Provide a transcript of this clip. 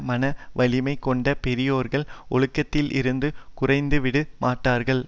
மனா வலிமை கொண்ட பெரியோர்கள் ஒழுக்கத்திலிருந்து குறைந்துவிட மாட்டார்கள்